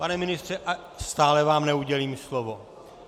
Pane ministře, stále vám neudělím slovo.